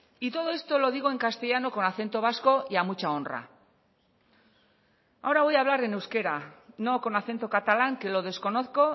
y todo esto lo digo en castellano con acento vasco y a mucha honra ahora voy a hablar en euskera no con acento catalán que lo desconozco